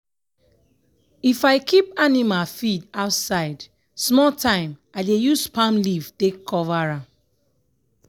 if i keep animal feed outside small time i dey use palm leaf take cover am.